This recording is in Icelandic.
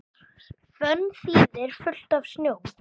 Fönn þýðir fullt af snjó.